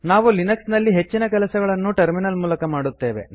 ನಾವು ಲಿನಕ್ಸ್ ನಲ್ಲಿ ಹೆಚ್ಚಿನ ಕೆಲಸಗಳನ್ನು ಟರ್ಮಿನಲ್ ಮೂಲಕ ಮಾಡುತ್ತೇವೆ